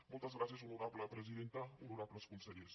moltes gràcies honorable presidenta honorables consellers